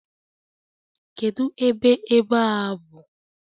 Kedu ebe ebe a bụ?